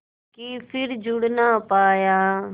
के फिर जुड़ ना पाया